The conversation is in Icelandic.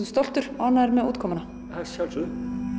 stoltur og ánægður með útkomuna að sjálfsögðu